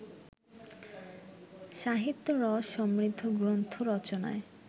সাহিত্যরস সমৃদ্ধ গ্রন্থ রচনায়